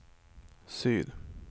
syd